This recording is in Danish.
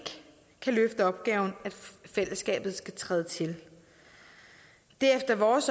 kan løfte opgaven at fællesskabet skal træde tid det er efter vores